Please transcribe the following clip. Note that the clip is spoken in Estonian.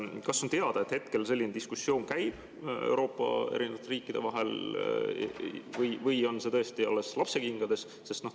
Kas on teada, et hetkel selline diskussioon käib Euroopa riikide vahel või on see tõesti alles lapsekingades?